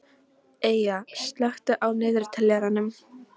Eyja, slökktu á niðurteljaranum.